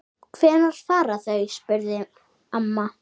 Hvenær fara þau? spurði amma.